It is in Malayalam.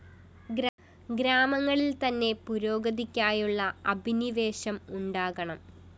ഗ്രാമങ്ങളില്‍ത്തന്നെ പുരോഗതിക്കായുള്ള അഭിനിവേശം ഉണ്ടാകണം